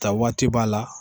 Ta waati b'a la